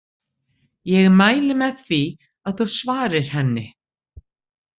Ég mæli með því að þú svarir henni.